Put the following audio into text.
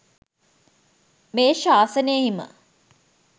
මේ ශාසනයෙහිම